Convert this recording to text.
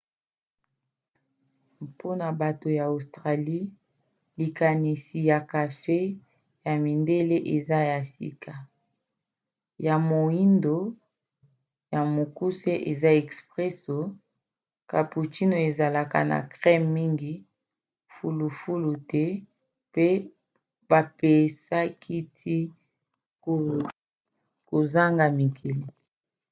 mpona bato ya australie likanisi ya kafe 'ya mindele' eza ya sika. ya moindo ya mokuse eza 'expresso' cappuccino ezalaka na creme mingi fulufulu te mpe bapesaka ti kozanga miliki